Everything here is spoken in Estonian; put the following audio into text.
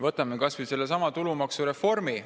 Võtame kas või sellesama tulumaksureformi.